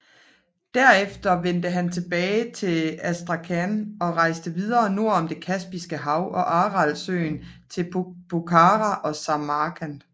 Derefter vendte han tilbage til Astrakhan og rejste videre nord om det Kaspiske hav og Aralsøen til Bokhara og Samarkand